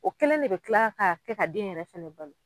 O kɛlen de bɛ kila ka kɛ ka den yɛrɛ fɛnɛ balo.